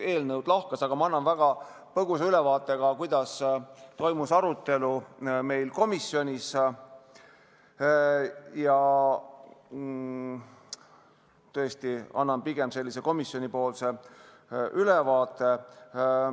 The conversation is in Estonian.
Annan põgusa ülevaate eelkõige sellest, kuidas toimus arutelu meil komisjonis – sellise komisjonipoolse ülevaate.